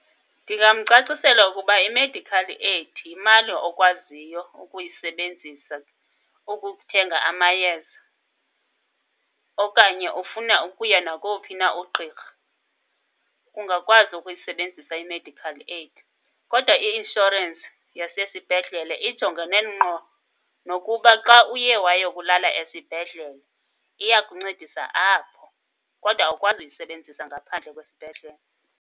Ndingamcacisela ukuba i-medical aid yimali okwaziyo ukuyisebenzisa ukuthenga amayeza. Okanye ufuna ukuya nakowuphi na uqqirha, ungakwazi ukuyisebenzisa i-medical aid. Kodwa i-inshorensi yasesibhedlele ijongene ngqo nokuba xa uye wayokulala esibhedlele iyakuncedisa apho, kodwa awukwazi uyisebenzisa ngaphandle kwesibhedlele.